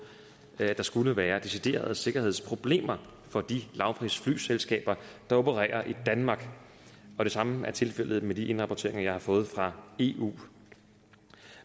at der skulle være deciderede sikkerhedsproblemer for de lavprisflyselskaber der opererer i danmark det samme er tilfældet med de indrapporteringer jeg har fået fra eu